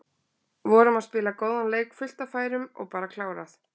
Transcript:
Vorum að spila góðan leik, fullt af færum og bara klárað.